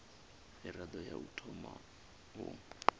mirado ya u thoma u